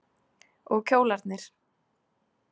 Og kjólarnir.